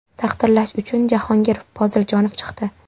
Taqdirlash uchun Jahongir Poziljonov chiqdi.